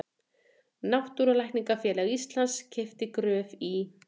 Náttúrulækningafélag Íslands keypti Gröf í